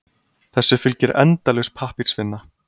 Þessu fylgir endalaus pappírsvinna.